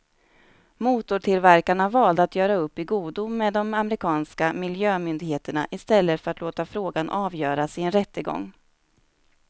Motortillverkarna valde att göra upp i godo med de amerikanska miljömyndigheterna i stället för att låta frågan avgöras i en rättegång.